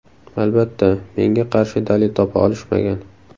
Albatta, menga qarshi dalil topa olishmagan.